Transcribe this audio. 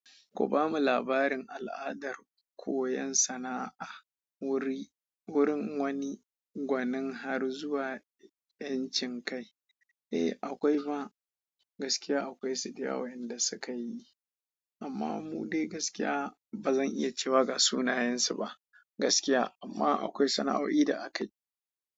Ku bamu labarin al'adar koyon sana'a wuri wurin wani gwanin har zuwa 'yan cin kai. Eh akwai ma, gaskiya akwai su da yawa inda suka yi amma mu dai gaskiya ba zan iya cewa ga sunayensu ba gaskiya amma akwai sana'o'i da akayi.